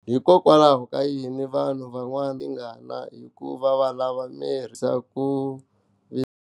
Hikokwalaho ka yini vanhu van'wana va khomiwa hi tingana hikuva valava ku herisa ku vilela.